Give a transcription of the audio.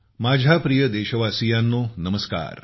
माझ्या प्रिय देशवासियांनो नमस्कार